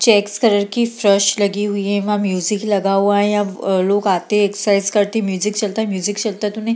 checks colour की फर्श लगी हुई है एमा म्यूजिक लगा हुआ है यहाँ अ लोग आते हैं एक्सरसाइज करते हैं म्यूजिक चलता है म्यूजिक चलता है तो उन्हें --